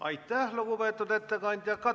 Aitäh, lugupeetud ettekandja!